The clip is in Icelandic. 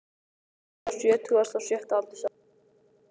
Hann lést á sjötugasta og sjötta aldursári í